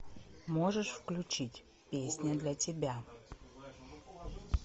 можешь включить песня для тебя